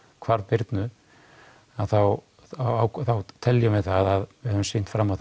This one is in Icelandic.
hvarf Birnu þá teljum við það að við höfum sýnt fram á